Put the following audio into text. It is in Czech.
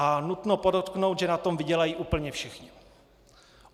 A nutno podotknout, že na tom vydělají úplně všichni.